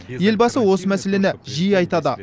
елбасы осы мәселені жиі айтады